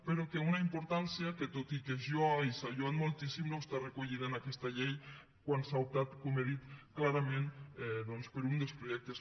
però una importància que tot i que es lloa i s’ha lloat moltíssim no està recollida en aquesta llei quan s’ha optat com he dit clarament per un dels projectes